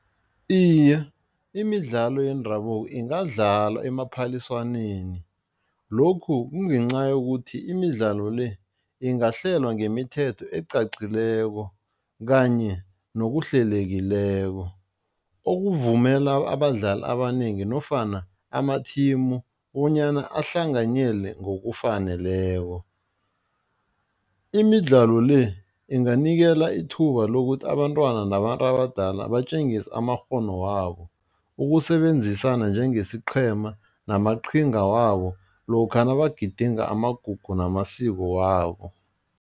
Iye, imidlalo yendabuko ingadlalwa emaphaliswaneni, lokhu kungenca yokuthi imidlalo le, ingahlelwa ngemithetho elicacileko kanye nokuhlelekileko, okuvumela abadlali abanengi nofana amathimu bonyana ahlanganyele ngokufaneleko. Imidlalo le, inganikela ithuba lokuthi abantwana nabantu abadala batjengise amakghono wabo, ukusebenzisana njengesiqhema namaqhinga wabo lokha nabagidinga amagugu namasiko wabo.